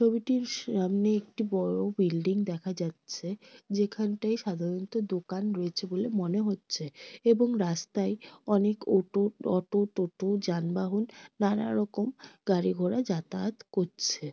ছবিটির সামনে একটি বড় বিল্ডিং দেখা যাচ্ছে। যেখানটায় সাধারণত দোকান রয়েছে বলে মনে হচ্ছে এবং রাস্তায় অনেক ওটো অটো টোটা যানবাহন নানা রকম গাড়ি ঘোড়া যাতায়াত করছে।